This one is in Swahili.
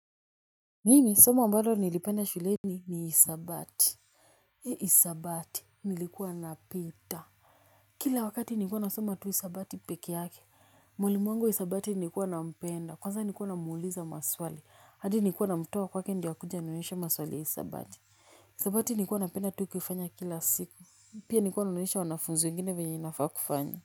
Mimi somo ambalo nilipenda shuleni ni hisabati He hisabati nilikuwa napita. Kila wakati ni kuwa nasoma tu hisabati peke yake. Mwalimu wangu hisabati nilikuwa na mpenda kwaza nilikuwa na muuliza maswali hadi nikuwa na mtoa kwake ndio akuje anionyeshe maswali ya isabati. Hisabati nilikuwa napenda tu kufanya kila siku pia ni kuwa naonyesha wanafunzi wengine vyenye inafa kufanywa.